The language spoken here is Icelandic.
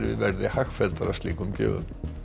verði hagfelldara slíkum gjöfum